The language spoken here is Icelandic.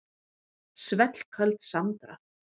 Svellköld Sandra.